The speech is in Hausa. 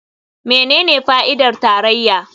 Menene fa'idar tarayya?